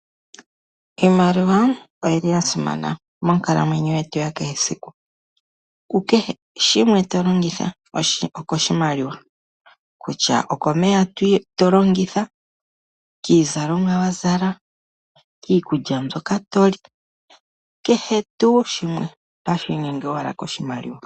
Iimaliwa oyi li ya simana monkalamweyo yetu ya kehe esiku. Ku kehe to longitha oko shimaliwa, kutya oko meya to longitha, kiizalomwa wa zala, kiikulya mbyoka to li, kehe tuu shimwe ohashi inyenge owala koshimaliwa.